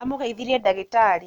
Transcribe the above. Amũgeithirie ndagĩtarĩ